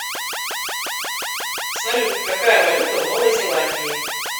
салют какая валюта в новой зеландии